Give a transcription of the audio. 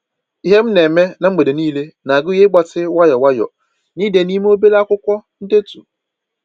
Ihe m na eme na mgbede niile na-agụnye ịgbatị nwayọ nwayọ na ide n'ime obere akwụkwọ ndetu